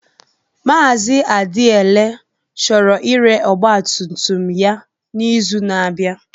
Mazị Adiele chọrọ ire ọgba tum tum ya n'izu na-abịa.